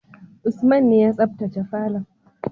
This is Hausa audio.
Usman ne ya sabtace falon.